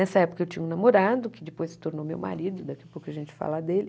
Nessa época eu tinha um namorado, que depois se tornou meu marido, daqui a pouco a gente fala dele,